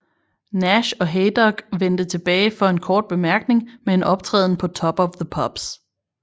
Nash og Haydock vendte tilbage for en kort bemærkning med en optræden på Top of the Pops